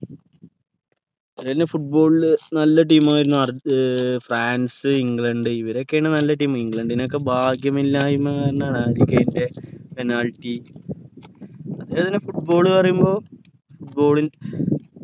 football നല്ല team ആയർന്നു ആർജെ ഫ്രാൻസ് ഇംഗ്ലണ്ട് ഇവരൊക്കെയാണ് നല്ല team ഇംഗ്ലണ്ടിനൊക്കെ ഭാഗ്യമില്ലായ്മ തന്നെ ആണ് penalty football പറയുമ്പോ football